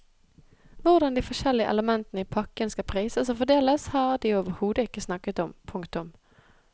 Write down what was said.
Hvordan de forskjellige elementene i pakken skal prises og fordeles har de overhodet ikke snakket om. punktum